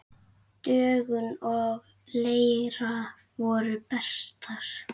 Dögun og Leira voru bestar.